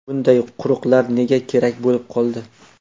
Bunday chuqurlar nega kerak bo‘lib qoldi?